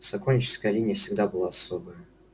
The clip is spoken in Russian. сокольническая линия всегда была особая